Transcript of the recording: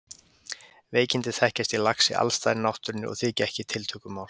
Veikindi þekkjast í laxi alls staðar í náttúrunni og þykja ekki tiltökumál.